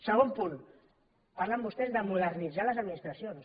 segon punt parlen vostès de modernitzar les administracions